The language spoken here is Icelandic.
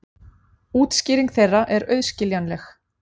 Útskýring þeirra er auðskiljanleg.